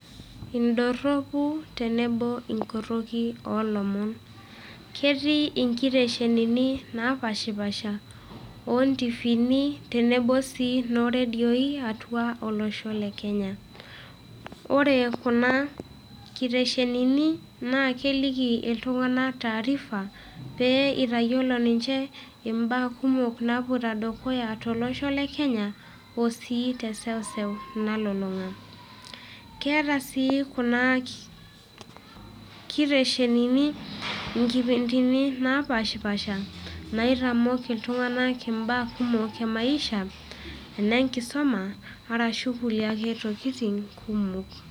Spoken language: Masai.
Idorropu tenebo inkorroki olomon. Ketii inkiteshenini napashipasha otivini tenebo si noredioi, atua olosho le Kenya. Ore kuna kiteshenini, naa keliki iltung'anak taarifa, pee itayiolo ninche imbaa kumok napoito dukuya tolosho le Kenya, osii teseuseu nalulung'a. Keeta si kuna kiteshenini inkipindini napashipasha, naitamok iltung'anak imbaa kumok emaisha, enenkisuma, arashu kulie ake tokiting kumok.